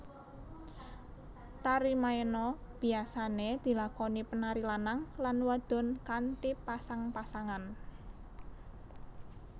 Tari maena biyasané dilakoni penari lanang lan wadon kanthi pasang pasangan